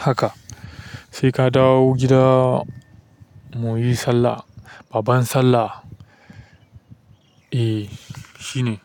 haka. Sai ka dawo gida mu yi sallah, babbar sallah. Eh, shine.